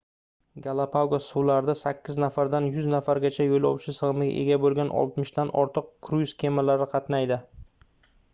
galapagos suvlarida 8 nafardan 100 nafargacha yoʻlovchi sigʻimiga ega boʻlgan 60 dan ortiq kruiz kemalari qatnaydi